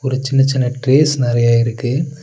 ஒரு சின்ன சின்ன ட்ரேஸ் நெறைய இருக்கு.